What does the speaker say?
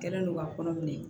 Kɛlen don ka kɔnɔ minɛ